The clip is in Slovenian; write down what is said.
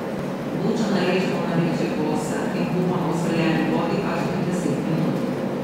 Bučo narežemo na večje kose in kuhamo v soljeni vodi kakšnih deset minut.